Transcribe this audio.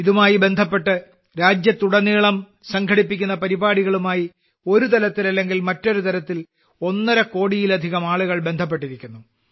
ഇതുമായി ബന്ധപ്പെട്ട് രാജ്യത്തുടനീളം സംഘടിപ്പിക്കുന്ന പരിപാടികളുമായി ഒരു തരത്തിലല്ലെങ്കിൽ മറ്റൊരുതരത്തിൽ ഒന്നര കോടിയിലധികം ആളുകൾ ബന്ധപ്പെട്ടിരിക്കുന്നു